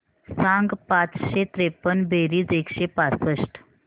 सांग पाचशे त्रेपन्न बेरीज एकशे पासष्ट